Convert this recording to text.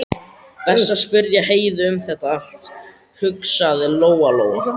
Best að spyrja Heiðu um þetta allt, hugsaði Lóa Lóa.